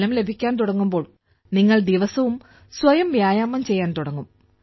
ഫലം ലഭിക്കാൻ തുടങ്ങുമ്പോൾ നിങ്ങൾ ദിവസവും സ്വയം വ്യായാമം ചെയ്യാൻ തുടങ്ങും